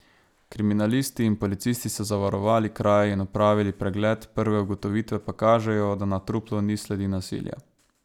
Kriminalisti in policisti so zavarovali kraj in opravili pregled, prve ugotovitve pa kažejo, da na truplu ni sledi nasilja.